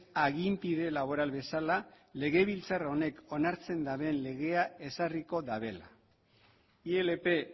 aginpide laboral bezala legebiltzar honek onartzen duten legea ezarriko dutela ilp